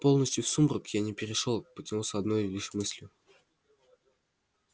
полностью в сумрак я не перешёл потянулся одной лишь мыслью